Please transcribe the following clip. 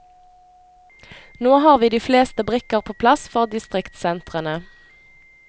Nå har vi de fleste brikker på plass for distriktsentrene.